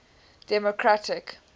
democratic